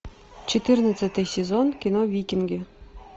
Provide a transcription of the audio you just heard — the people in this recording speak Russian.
четырнадцатый сезон кино викинги